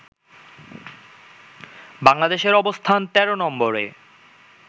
বাংলাদেশের অবস্থান ১৩ নম্বরে